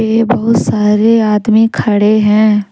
ये बहुत सारे आदमी खड़े हैं।